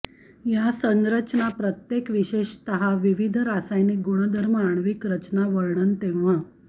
या संरचना प्रत्येक विशेषतः विविध रासायनिक गुणधर्म आण्विक रचना वर्णन तेव्हा